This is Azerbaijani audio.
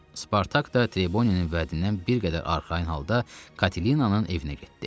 Spartak da Treboninin vədindən bir qədər arxayın halda Katerinanın evinə getdi.